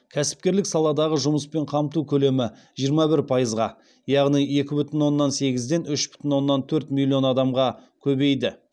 кәсіпкерлік саладағы жұмыспен қамту көлемі жиырма бір пайызға яғни екі бүтін оннан сегізден үш бүтін оннан төрт миллион адамға көбейді